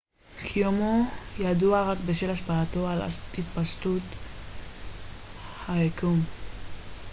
קיומו ידוע רק בשל השפעתו על התפשטות היקום